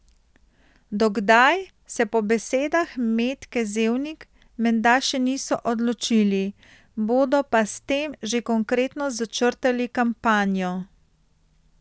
Do kdaj, se po besedah Metke Zevnik menda še niso odločili, bodo pa s tem že konkretno začrtali kampanjo.